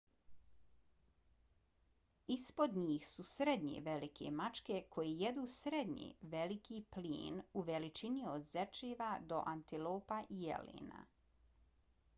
ispod njih su srednje velike mačke koje jedu srednje veliki plijen u veličini od zečeva do antilopa i jelena